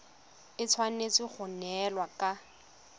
e tshwanetse go neelana ka